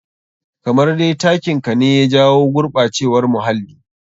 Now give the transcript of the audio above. Kamar dai takin ka ne ya jawo gurɓacewar muhalii.